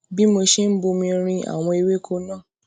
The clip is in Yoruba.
bí mo ṣe ń bomi rin àwọn ewéko náà